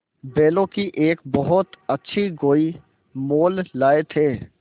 बैलों की एक बहुत अच्छी गोई मोल लाये थे